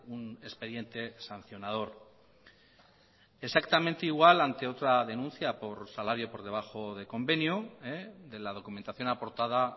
un expediente sancionador exactamente igual ante otra denuncia por salario por debajo de convenio de la documentación aportada